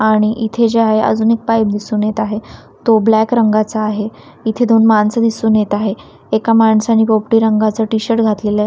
आणि इथे जे आहे अजून एक पाईप दिसून येत आहे तो ब्लॅक रंगाचा आहे इथे दोन माणसे दिसून येत आहे एका माणसाने पोपटी रंगाचे टी_शर्ट घातलेला आहे.